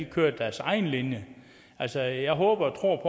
kørte deres egen linje altså jeg håber og tror